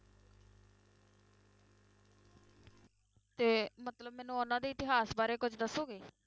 ਤੇ ਮਤਲਬ ਮੈਨੂੰ ਉਹਨਾਂ ਦੇ ਇਤਿਹਾਸ ਬਾਰੇ ਕੁਛ ਦੱਸੋਗੇ?